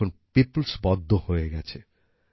এটি এখন পিপলস পদ্ম হয়ে গেছে